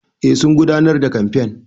Eh sun gudanar da kamfen.